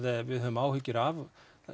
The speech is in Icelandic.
við höfum áhyggjur af